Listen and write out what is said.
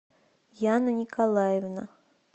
яна николаевна